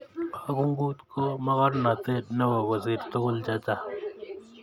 akungut ko mokornotet neo kosir tukul chechang